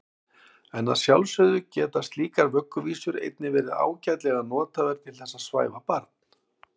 En að sjálfsögðu geta slíkar vögguvísur einnig verið ágætlega nothæfar til þess að svæfa barn.